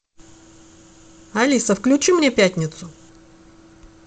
алиса включи мне пятницу